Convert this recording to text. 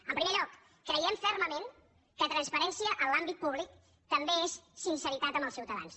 en primer lloc creiem fermament que transparència en l’àmbit públic també és sinceritat amb els ciutadans